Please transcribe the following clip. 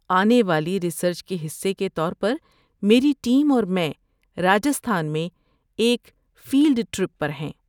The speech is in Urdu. آنے والی ریسرچ کے حصے کے طور پر میری ٹیم اور میں راجستھان میں ایک فیلڈ ٹرپ پر ہیں۔